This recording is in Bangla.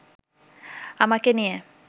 আমাকে নিয়ে